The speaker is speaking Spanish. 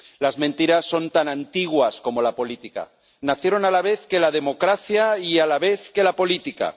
Las mentiras son tan antiguas como la política nacieron a la vez que la democracia y a la vez que la política.